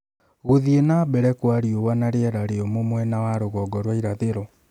Gũthiĩ na mbere kwa riũa na rĩera rĩũmũ mwena wa rũgongo rwa irathĩro